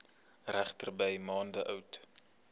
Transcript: regterdy maande oud